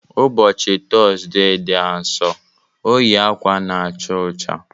Ụbọchị Tọzdee dị Asọ, o yi akwa na-acha ọcha.